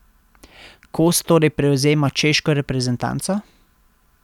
Kos torej prevzema češko reprezentanco?